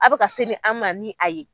Aw bɛ ka se ni an ma ni a ye